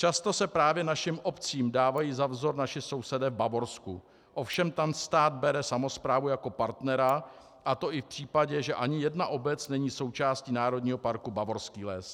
Často se právě našim obcím dávají za vzor naši sousedé v Bavorsku, ovšem tam stát bere samosprávu jako partnera, a to i v případě, že ani jedna obec není součástí Národního parku Bavorský les.